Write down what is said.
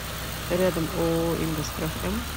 рядом ооо ингосстрах м